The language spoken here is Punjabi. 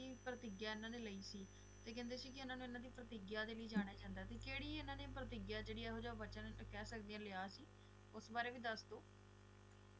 ਕੀ ਪ੍ਰਤਿਗਿਆ ਇਹਨਾਂ ਨੇ ਲਈ ਸੀ ਇਹ ਕਹਿੰਦੇ ਸੀ ਇਹਨਾਂ ਨੇ ਪ੍ਰਤਿਗਿਆ ਲਈ ਜਣਿਆ ਜਂਦਾ ਸੀ ਕਿਹੜੀ ਇਹਨਾਂ ਨੇ ਪ੍ਰਤਿਗਿਆ ਇਹੋ ਜਿਹਾ ਵਚਨ ਕਹਿ ਸਕਦੇ ਆ ਲਿਆ ਸੀ ਉਸ ਬਾਰੇ ਵੀ ਦਸਦੋ